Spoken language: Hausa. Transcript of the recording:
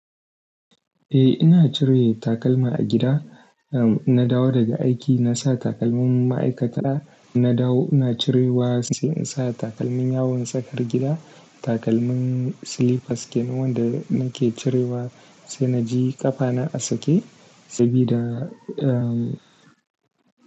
Eh, ina cire takalma a gida. In na dawo daga aiki, na sa takalmin ma'aikata. Na dawo, ina cirewa sai in sa takalmin yawon tsakar gida. Takalmin slippers kenan wanda nake cirewa sai na ji ƙafana a sake sabida, um.